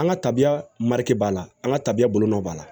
An ka tabiya mari b'a la an ka tabiya bolonɔ b'a la